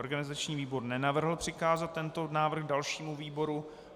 Organizační výbor nenavrhl přikázat tento návrh dalšímu výboru.